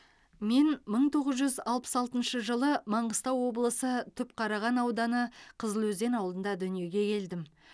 мен мың тоғыз жүз алпыс алтыншы жылы маңғыстау облысы түпқараған ауданы қызылөзен ауылында дүниеге келдім